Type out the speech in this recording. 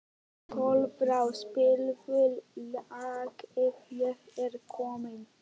Kolbrá, spilaðu lagið „Ég er kominn“.